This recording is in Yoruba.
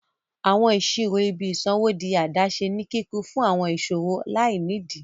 Awọn iṣiro ìbí isanwo dì adaṣe ní kíkún fún awọn iṣowo lainidi.